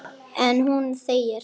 En hún þegir.